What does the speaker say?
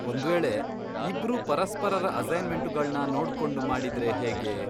ಒಂದ್ವೇಳೆ ಇಬ್ರೂ ಪರಸ್ಪರರ ಅಸೈನ್ಮೆಂಟುಗಳ್ನ ನೋಡ್ಕೊಂಡು ಮಾಡಿದ್ರೆ ಹೇಗೆ?